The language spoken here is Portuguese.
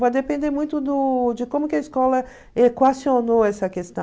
Vai depender muito do de como que a escola equacionou essa questão.